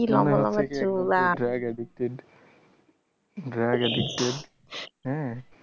Drug addicted drug addicted হ্যাঁ